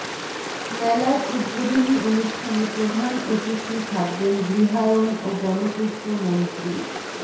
মেলার উদ্বোধনী অনুষ্ঠানে প্রধান অতিথি থাকবেন গৃহায়ণ ও গণপূর্ত মন্ত্রী